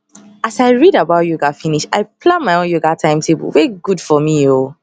as i read about yoga finish i plan my own yoga timetable wey good for me ooooo